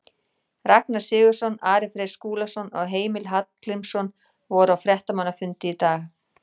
Ragnar Sigurðsson, Ari Freyr Skúlason og Heimir Hallgrímsson voru á fréttamannafundi í dag.